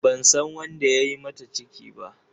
Ban san wanda ya yi mata ciki ba.